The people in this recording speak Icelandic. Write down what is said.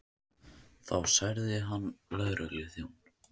Þá særði hann lögregluþjón